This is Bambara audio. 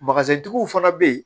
tigiw fana bɛ yen